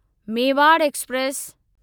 Mewar express